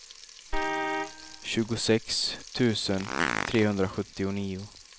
tjugosex tusen trehundrasjuttionio